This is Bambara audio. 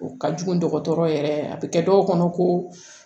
O ka jugu dɔgɔtɔrɔ yɛrɛ a bɛ kɛ dɔw kɔnɔ ko